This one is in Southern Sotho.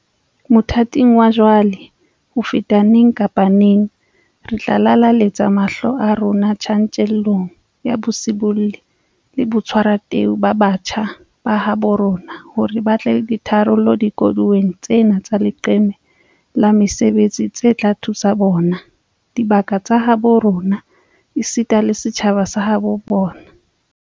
Mothating wa jwale, ho feta neng kapa neng, re tla lelaletsa mahlo a rona tjantjellong ya bosibolli le botshwarateu ba batjha ba habo rona hore ba tle le ditharollo dikoduweng tsena tsa leqeme la mesebetsi tse tla thusa bona, dibaka tsa habo rona esita le setjhaba sa habo bona.